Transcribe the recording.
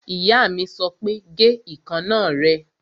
Ìyá mi sọ pé, Gé ìkaná rẹ!